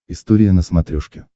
история на смотрешке